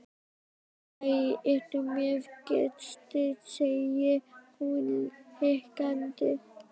Æ, ertu með gesti, segir hún hikandi.